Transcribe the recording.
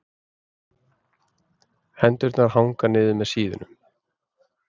Hendurnar hanga niður með síðunum.